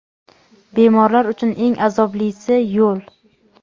Bemorlar uchun eng azoblisi – yo‘l.